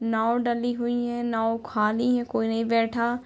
नाव डली हुई है नाव खाली है कोई नहीं बैठा --